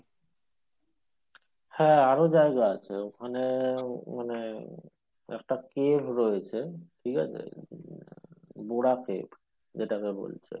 হ্যাঁ আরো জায়গা আছে ওখানে একটা place রয়েছে ঠিকাছে বুড়া পেড় যেটা কে বলছে